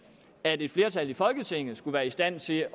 at et flertal i folketinget skulle være i stand til